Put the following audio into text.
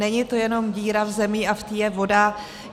Není to jenom díra v zemi a v té je voda.